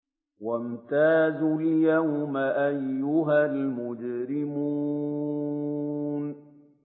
وَامْتَازُوا الْيَوْمَ أَيُّهَا الْمُجْرِمُونَ